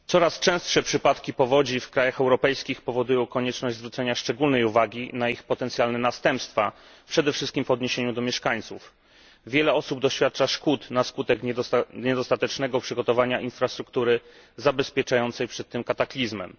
Panie Przewodniczący! Coraz częstsze przypadki powodzi w krajach europejskich powodują konieczność zwrócenia szczególnej uwagi na ich potencjalne następstwa, przede wszystkim dla mieszkańców. Wiele osób doświadcza szkód na skutek niedostatecznego przygotowania infrastruktury zabezpieczającej przed tym kataklizmem.